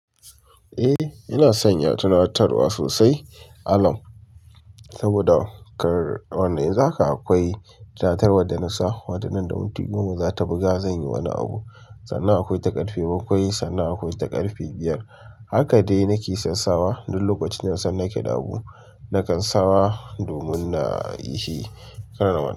Eh ina sanya tunatarwa sosai alarm. Saboda kar wannan yanzu haka akwai tunatarwar da nasa. Wanda nan da minti goma zata buga zanyi wani abu. Sannan akwai ta karfe bakwai, sannan akwai ta karfe biyar. Haka dai nake son sawa duk lokacin da nasan nake da abu nakan sawa domin nayi shi kan.